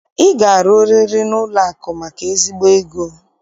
Ị ga-arụriri n'ụlọakụ maka ezigbo ego!